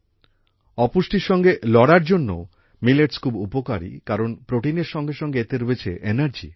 অপুষ্টির সঙ্গে লড়ার জন্যও মিলেটস খুব উপকারী কারণ প্রোটিনের সঙ্গে সঙ্গে এতে রয়েছে এনার্জি